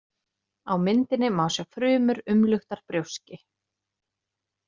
Á myndinni má sjá frumur umluktar brjóski.